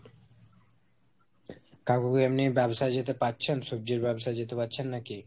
কাকু কি এমনি ব্যাবসায় যেতে পারছেন, সবজির ব্যাবসায় যেতে পারছেন নাকি?